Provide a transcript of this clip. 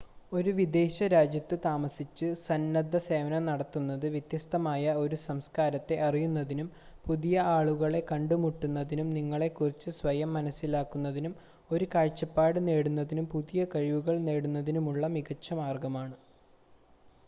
ഒരു വിദേശ രാജ്യത്ത് താമസിച്ച് സന്നദ്ധസേവനം നടത്തുന്നത് വ്യത്യസ്തമായ ഒരു സംസ്കാരത്തെ അറിയുന്നതിനും പുതിയ ആളുകളെ കണ്ടുമുട്ടുന്നതിനും നിങ്ങളെ കുറിച്ച് സ്വയം മനസ്സിലാക്കുന്നതിനും ഒരു കാഴ്‌ചപ്പാട് നേടുന്നതിനും പുതിയ കഴിവുകൾ നേടുന്നതിനുമുള്ള മികച്ച മാർഗമാണ്